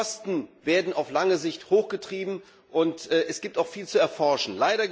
Die Kosten werden auf lange Sicht hochgetrieben, und es gibt noch viel zu erforschen.